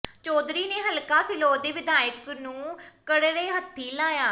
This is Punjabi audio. ਚੌਧਰੀ ਨੇ ਹਲਕਾ ਫਿਲੌਰ ਦੇ ਵਿਧਾਇਕ ਨੂੰ ਕਰੜੇ ਹੱਥੀਂ ਲਿਆ